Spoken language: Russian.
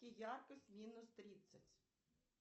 яркость минус тридцать